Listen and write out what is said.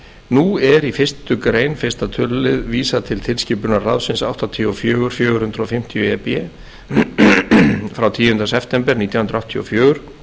nú er í fyrstu grein fyrstu tl vísað til tilskipunar ráðsins áttatíu og fjögur fjögur hundruð fimmtíu e b frá tíunda september nítján hundruð áttatíu og fjögur